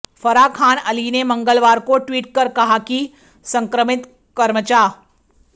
फराह खान अली ने मंगलवार को ट्वीट कर कहा कि संक्रमित कर्मचा